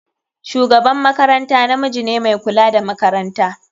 Shugaban makaranta namiji ne mai kula da makaranta.